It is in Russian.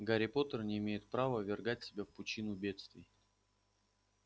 гарри поттер не имеет права ввергать себя в пучину бедствий